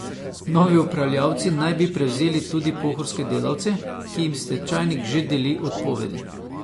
Novi upravljavci naj bi prevzeli tudi pohorske delavce, ki jim stečajnik že deli odpovedi.